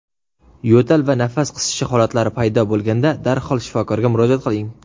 yo‘tal va nafas qisishi holatlari paydo bo‘lganda darhol shifokorga murojaat qiling!.